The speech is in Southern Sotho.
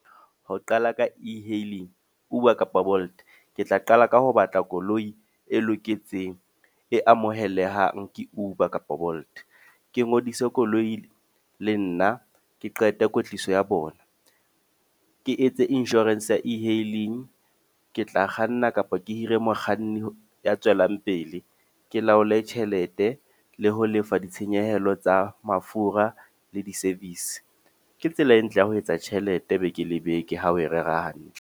Ho qala ka e-hailing, Uber kapa Bolt. Ke tla qala ka ho batla koloi e loketseng, e amohelehang ke Uber kapa Bolt. Ke ngodise koloi le nna, ke qete kwetliso ya bona. Ke etse insurance ya e-hailing, ke tla kganna kapa ke hire mokganni ya tswelang pele. Ke laole tjhelete, le ho lefa ditshenyehelo tsa mafura le di-service. Ke tsela e ntle ya ho etsa tjhelete beke le beke ha o e rera hantle.